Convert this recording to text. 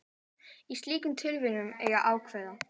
Í slíkum tilvikum eiga ákvæði